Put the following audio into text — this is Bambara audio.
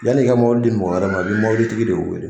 Yanni ka mɔbili di mɔgɔ wɛrɛ ma i be mobili tigi de weele